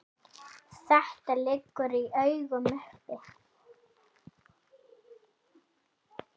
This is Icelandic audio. Þetta liggur í augum uppi.